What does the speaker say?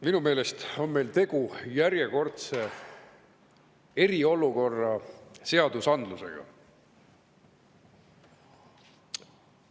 Minu meelest on meil järjekordselt tegu eriolukorra seadusandlusega.